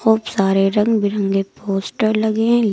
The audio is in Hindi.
बहुत सारे रंग बिरंगे पोस्टर लगे हैं।